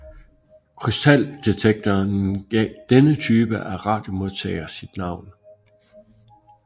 Krystaldetektoren gav denne type af radiomodtager sit navn